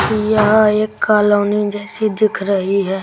यह एक कॉलोनी जैसी दिख रही है।